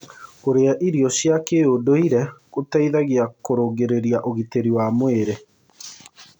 Kũrĩa irio cia kĩũndũĩre gũteĩthagĩa kũrũngĩrĩrĩa ũgĩtĩrĩ wa mwĩrĩ